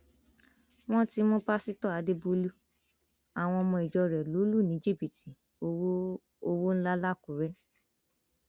wọn ti mú pásítọ àdèbọlù àwọn ọmọ ìjọ rẹ lọ lù ní jìbìtì owó owó ńlá lákùrẹ